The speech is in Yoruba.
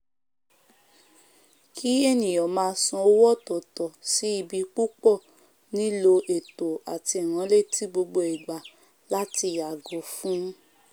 kí ènìyàn máa san owó ọ̀tọ̀tọ̀ sí ibi púpọ̀ nílò ètò àti ìránletí gbogbo ìgbà láti yàgò fún